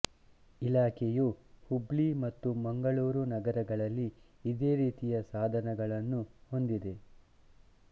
ಇಲಾಖೆಯು ಹುಬ್ಲಿ ಮತ್ತು ಮಂಗಳೂರು ನಗರಗಳಲ್ಲಿ ಇದೇ ರೀತಿಯ ಸಾಧನಗಳನ್ನು ಹೊಂದಿದೆ